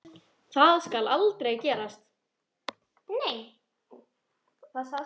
Það skal aldrei gerast.